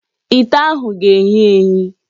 Ite ahụ ga-eyi eyi.